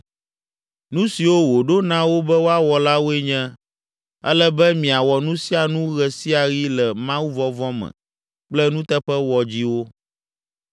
Nu siwo wòɖo na wo be woawɔ la woe nye, “Ele be miawɔ nu sia nu ɣe sia ɣi le mawuvɔvɔ̃ me kple nuteƒewɔdziwo.